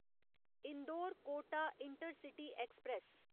Indore Kota intercity express